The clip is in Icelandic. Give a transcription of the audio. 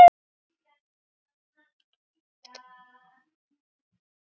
Farðu í friði hjartað mitt.